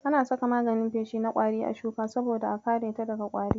Ana saka maganin feshi na ƙwari a shuka saboda a kareta daga ƙwari.